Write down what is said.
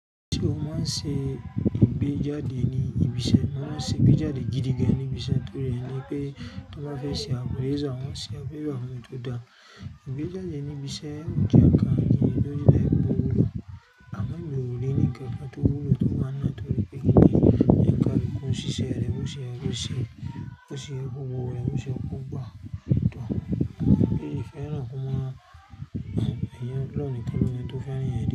Ṣé o máa ń ṣe ìgbéjáde ní ibi iṣẹ́? Wọ́n máa ń ṣe ìgbéjáde gidi gan ní ibi iṣẹ́ torí ẹni pé tó bá fẹ́ ṣe àpérẹ àwọn ṣe àpérẹ fún ẹ tó dáa. Ìgbéjáde ní ibi iṣẹ́ jẹ́ ǹkan kí lóde láìpẹ́ gbòòrò. A má ì gbòòrò ní kankan tó wù ló tó máa ń ná torí pé kíni ǹkan tí kò sí ṣe rẹ, bó ṣe ẹ kò ṣe, bó ṣe ẹ kò wò rẹ, bó ṣe ẹ kò gbà. Òótọ́, èyí ni kí ẹ rán fún mọ́ ẹyin lọ́ọ̀ní kí wí pé tó fẹ́ rán ìyẹn dé.